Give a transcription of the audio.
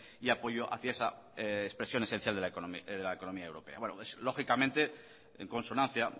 y apoyo hacia esa expresión esencial de la economía europea lógicamente en consonancia